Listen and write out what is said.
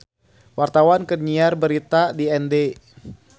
Wartawan keur nyiar berita di Ende